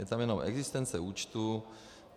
Je tam jenom existence účtu.